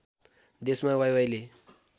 देशमा वाइवाइले